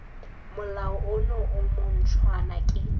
molao ono o montshwa ke